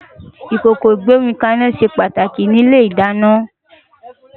Ikókó igbómikàná sé pàtáki ni ilé-idàná